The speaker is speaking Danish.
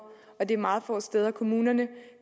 og det er meget få steder kommunerne